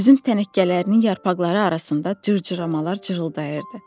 Üzüm tənəkkələrinin yarpaqları arasında cırcıramalar cırıldayırdı.